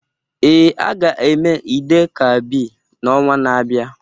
Ee, a ga-eme Eid-el-Kabir n'ọnwa na-abịa.